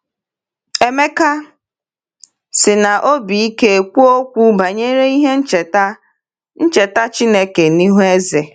Emeka sị n’obi ike kwuo okwu banyere ihe ncheta ncheta Chineke n’ihu eze.